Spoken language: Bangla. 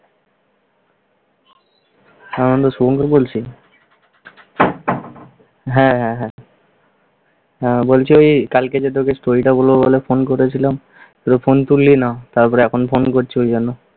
হ্যাঁ আনন্দ, শুভঙ্কর বলছি। হ্যাঁ, হ্যাঁ। হ্যাঁ, বলছি কালকে যে তোকে story টা বলব বলে ফোন করেছিলাম তুই তো ফোনই তুললি না। তারপর এখন ফোন করছি ওই জন্য।